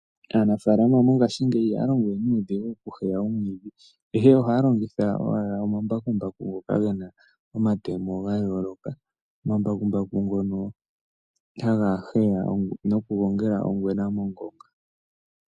Aanafalama mongashingeyi ihaya longo we nuudhigu okuheya omwiidhi, ihe ohaya longitha owala omambakumbaku ngoka gena omatemo gayooloka. Omambakumbaku ngono haga heya nokugongela ongwena mongonga.